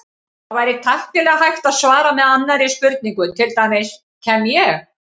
Það væri tæknilega hægt að svara með annarri spurningu, til dæmis: Kem ég?